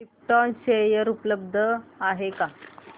krypton share उपलब्ध आहेत का